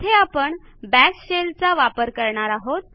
येथे आपण bash shell चा वापर करणार आहोत